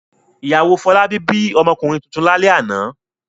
Ìyàwó Fọlábí bí ọmọkùnrin tuntun lálẹ́ àná.